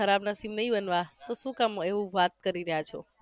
ખરાબ નસીબ નહિ હોનવા તો શું કામ એવુ વાત કરી રહ્યા છો